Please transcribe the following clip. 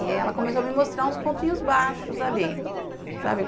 E ela começou a me mostrar uns pontinhos baixos ali, sabe?